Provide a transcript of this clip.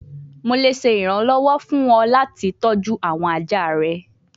Mo le ṣe iranlọwọ fun ọ lati tọju awọn aja rẹ